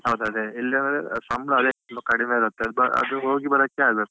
ಹೌದು ಅದೆ ಎಲ್ಲಿ ಅಂದ್ರೆ ಸಂಬಳ ಅದೆ ತುಂಬಾ ಕಡಿಮೆ ಇರುತ್ತೆ, ಅದು ಹೋಗಿ ಬರೋಕ್ಕೆ ಆಗುತ್ತೆ.